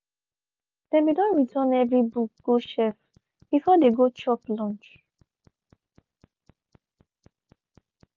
dem be don return every books go shelves before de go chop lunch.